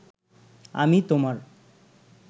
আমি তোমার